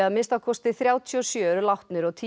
að minnsta kosti þrjátíu og sjö eru látnir og